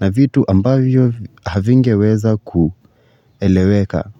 na vitu ambavyo havingeweza kueleweka.